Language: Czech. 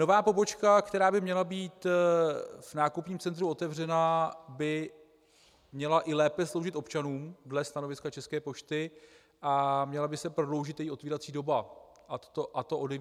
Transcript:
Nová pobočka, která by měla být v nákupním centru otevřená, by měla i lépe sloužit občanům dle stanoviska České pošty a měla by se prodloužit její otvírací doba, a to od 9 do 21 hodin.